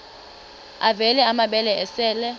avela amabele esel